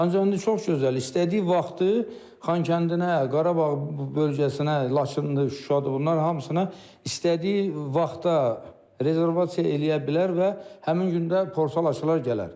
Ancaq indi çox gözəl, istədiyi vaxtı Xankəndinə, Qarabağ bölgəsinə, Laçındır, Şuşadır, bunlar hamısına istədiyi vaxtda rezervasiya eləyə bilər və həmin gündə portal açılar gələr.